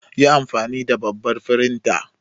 Yi anfani da babbar firintar.